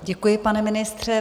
Děkuji, pane ministře.